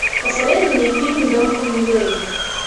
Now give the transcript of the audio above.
посоветуй мне фильм дом хемингуэй